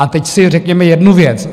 A teď si řekněme jednu věc.